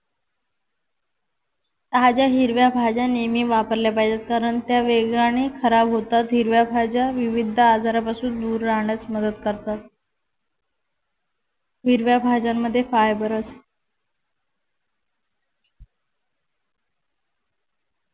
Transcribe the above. ताज्या हिरव्या भाज्या नेहमी वापरल्या पाहिजेत कारण त्या वेगाने खराब होतात. हिरव्या भाज्या विविध आजारापासून दूर राहण्यास मदत करतात. हिरव्या भाज्यांमध्ये फायबर असतं.